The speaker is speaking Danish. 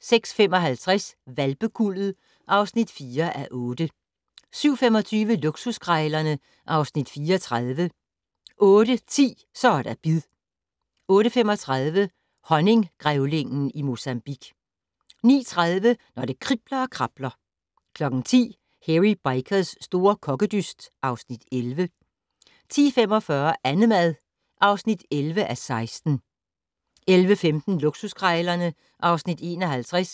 06:55: Hvalpekuldet (4:8) 07:25: Luksuskrejlerne (Afs. 34) 08:10: Så er der bid 08:35: Honninggrævlingen i Mozambique 09:30: Når det kribler og krabler 10:00: Hairy Bikers' store kokkedyst (Afs. 11) 10:45: Annemad (11:16) 11:15: Luksuskrejlerne (Afs. 51)